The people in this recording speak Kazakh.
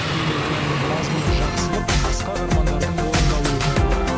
бейнебаянның мазмұны жақсылық асқақ армандардың орындалуы жайлы